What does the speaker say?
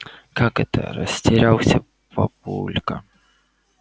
как это растерялся папулька